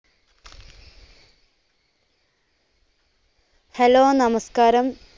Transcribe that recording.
hello നമസ്‍കാരം,